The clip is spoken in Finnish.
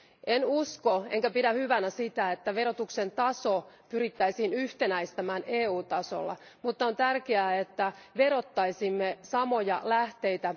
En usko enkä pidä hyvänä sitä, että verotuksen taso pyrittäisiin yhtenäistämään EU tasolla, mutta on tärkeää, että verottaisimme samoja lähteitä.